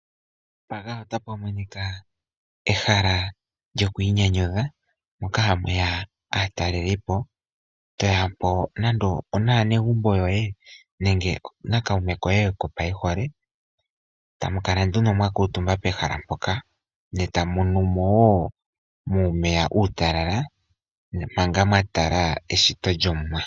Mpaka otapu monika ehala lyokwiinyanyudha , moka hamu ya aatalelipo, toya po nando naanegumbo yoye nenge nakaume koye kopaihole tamu kala nduno mwa kuutumba nduno pehala mpoka, ne tamu nu mo wo muumeya uutalala, ne manga mwa tala eshito lyomuwa.